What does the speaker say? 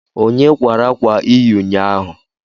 Onye kwara akwa ị yi ụnyaahụ?